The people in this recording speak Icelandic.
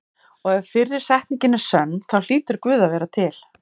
Og ef fyrri setningin er sönn þá hlýtur Guð að vera til.